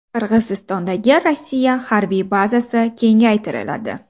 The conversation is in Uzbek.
Qirg‘izistondagi Rossiya harbiy bazasi kengaytiriladi.